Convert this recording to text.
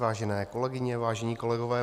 Vážené kolegyně, vážení kolegové.